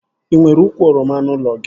E nwere ukwu oroma n'ụlọ gị?